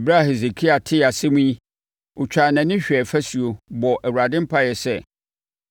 Ɛberɛ a Hesekia tee asɛm yi, ɔtwaa nʼani hwɛɛ fasuo, bɔɔ Awurade mpaeɛ sɛ,